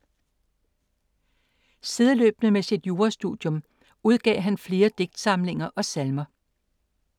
Sideløbende med sit jurastudium udgav han flere digtsamlinger og salmer.